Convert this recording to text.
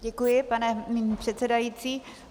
Děkuji, pane předsedající.